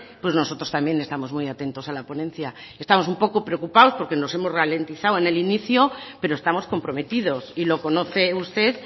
pues nosotros también estamos muy atentos a la ponencia estamos un poco preocupados porque nos hemos ralentizado en el inicio pero estamos comprometidos y lo conoce usted